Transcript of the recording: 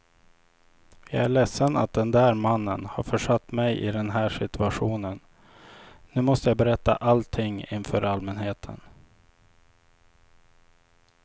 Jag är ledsen att den där mannen har försatt mig i den här situationen, nu måste jag berätta allting inför allmänheten.